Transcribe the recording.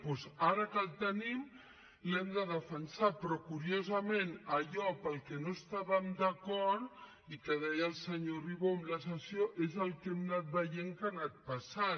doncs ara que el tenim l’hem de defensar però curiosament allò per què no estàvem d’acord i que deia el senyor ribó en la sessió és el que hem anat veient que ha anat passant